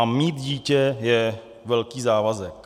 A mít dítě je velký závazek.